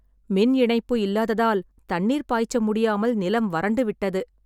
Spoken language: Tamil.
மின் இணைப்பு இல்லாததால் தண்ணீர் பாய்ச்ச முடியாமல் நிலம் வரண்டு விட்டது